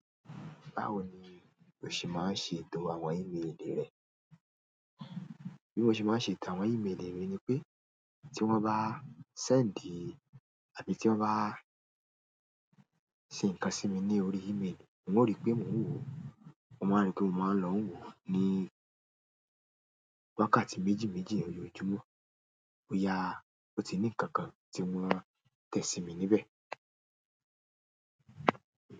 Báwo ni o ṣe máa ń ṣe ètò àwọn ímélì rẹ? Bí mo ṣe máa ń ṣe ètò àwọn ímélì mi ni pé tí wọ́n bá send àbí tí wọ́n bá ṣe ǹkan sí mi ní orí ímélì, n o rí pé mò ń wò ó. Mo máa n rí pé mò maa ń lọ n wò ó ní wákàtí méjì méjì lójoojúmọ́. Ó yà, ó ti ní nkankan tí wọn tẹ̀ sími níbẹ̀.